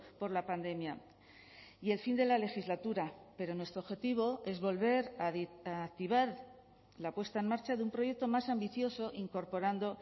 por la pandemia y el fin de la legislatura pero nuestro objetivo es volver a activar la puesta en marcha de un proyecto más ambicioso incorporando